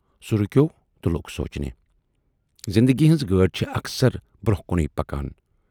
سُہ رُکیوو تہٕ لوگ سونچنہِ"زِندگی ہٕنز گٲڑۍ چھِ اکثر برونہہ کُنٕے پکان۔